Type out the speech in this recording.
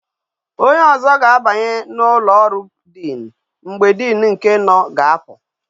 Onye ozo ga abanye na ulo oru dean mgbe dean nke no ga apu